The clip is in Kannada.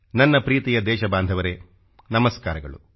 ನನ್ನೊಲವಿನ ದೇಶಬಾಂಧವರೇ ನಮಸ್ಕಾರಗಳು